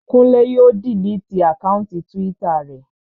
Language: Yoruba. Kúnlé yóò diliti àkáùntì túwítà rẹ̀